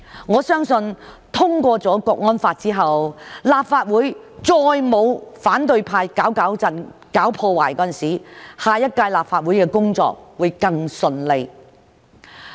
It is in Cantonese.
我相信通過了《香港國安法》之後，立法會再沒有反對派"搞搞震"、搞破壞，下一屆立法會的工作會更順利。